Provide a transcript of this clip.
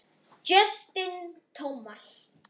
Justin Thomas